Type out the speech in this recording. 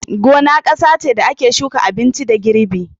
Gona kasa ce da ake shuka abinci da girbi.